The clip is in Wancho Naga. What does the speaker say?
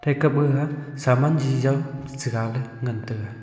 ekap gaga semaan ji jow chiga ley ngan taiga.